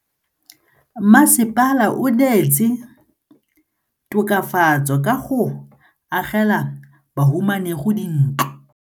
Mmasepala o neetse tokafatsô ka go agela bahumanegi dintlo.